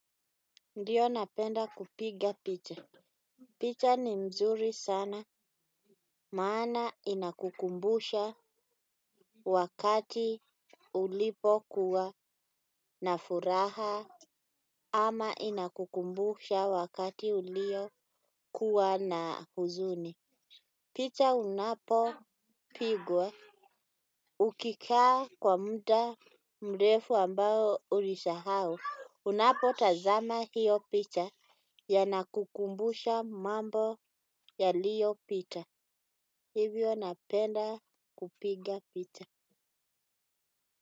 Ndio, napenda kupiga picha. Picha ni mzuri sana maana inakukumbusha wakati ulipokuwa na furaha ama inakukumbusha wakati uliokuwa na huzuni. Picha unapopigwa ukikaa kwa muda mrefu ambao ulisahau, unapotazama hio picha yanakukumbusha mambo yaliyopita hivyo napenda kupiga picha.